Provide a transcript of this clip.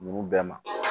Dugu bɛɛ ma